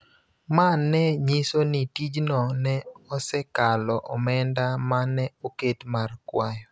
ma ne nyiso ni tijno ne osekalo omenda ma ne oket mar kwayo.